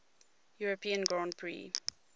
european grand prix